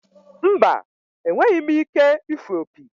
Mba, enweghị m ike ịfụ opi.